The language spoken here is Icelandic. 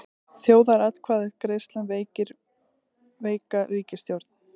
Þjóðaratkvæðagreiðslan veikir veika ríkisstjórn